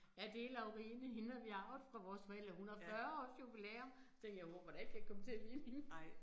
Ja det Laurine, hende har vi arvet fra vores forældre, hun har 40 års jubilæum, så tænkte jeg wow, hvordan kan jeg komme til at ligne hende